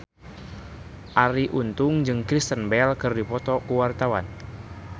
Arie Untung jeung Kristen Bell keur dipoto ku wartawan